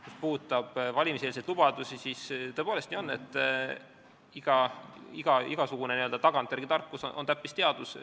Mis puudutab valimiseelseid lubadusi, siis tõepoolest on nii, et igasugune tagantjärele tarkus on täppisteadus.